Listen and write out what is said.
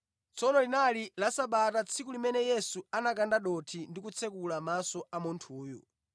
Tsono linali la Sabata tsiku limene Yesu anakanda dothi ndi kutsekula maso a munthuyu.